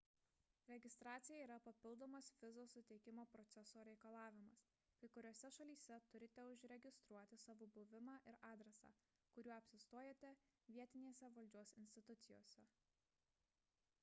registracija yra papildomas vizos suteikimo proceso reikalavimas kai kuriose šalyse turite užregistruoti savo buvimą ir adresą kuriuo apsistojate vietinėse valdžios institucijose